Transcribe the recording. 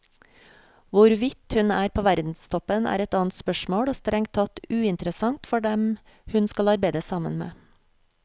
Hvorvidt hun er på verdenstoppen, er et annet spørsmål og strengt tatt uinteressant for dem hun skal arbeide sammen med.